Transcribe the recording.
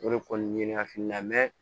O de kɔni ye ne hakilina